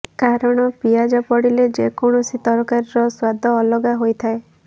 କାରଣ ପିଆଜ ପଡ଼ିଲେ ଯେକୌଣସି ତରକାରିର ସ୍ୱାଦ ଅଲଗା ହୋଇଥାଏ